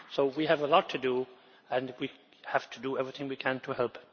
We have a lot to do and we have to do everything we can to help.